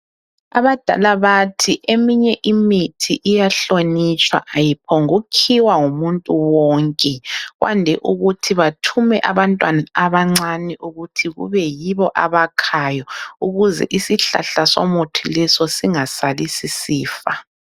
Abadala bathi eminye imithi iyahlonitshwa, ayiphongu khiwa ngumuntu wonke. Kwande ukuthi bathume abantwana abancane ukuthi kube yibo abakhayo, ukuze isihlahla somuthi leso singasali sisifa.